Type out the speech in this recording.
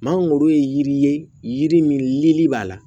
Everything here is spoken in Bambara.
Maa o ye yiri ye yiri minli b'a la